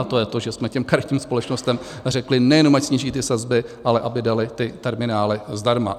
A to je to, že jsme těm karetním společnostem řekli, nejenom ať sníží ty sazby, ale aby daly ty terminály zdarma.